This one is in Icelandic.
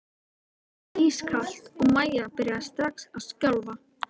Vatnið var ískalt og Maja byrjaði strax að skjálfa.